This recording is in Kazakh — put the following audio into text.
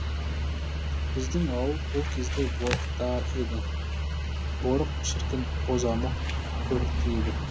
біздің ауыл ол кезде борықта еді борық шіркін бозамық көрікті еді